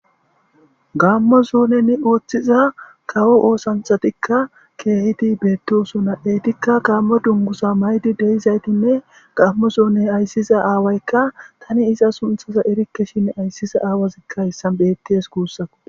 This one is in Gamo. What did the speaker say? Gammo souneni ooththiza kawo oosanthatikka keehidi beettosu naeytikka gammo dungusa maydi deyizaytinne gammo soune ayssiza aawaykka tani iza sunthasa erikke shin ayssiza aawazikka hissan bettees guussako.